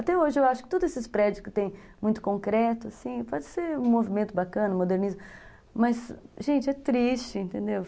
Até hoje, eu acho que todos esses prédios que têm muito concreto, assim, pode ser um movimento bacana, modernismo, mas, gente, é triste, entendeu?